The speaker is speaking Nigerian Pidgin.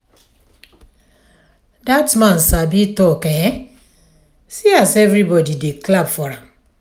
dat man sabi talk eh see as everybody dey clap for am.